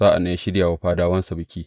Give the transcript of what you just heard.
Sa’an nan ya shirya wa fadawansa biki.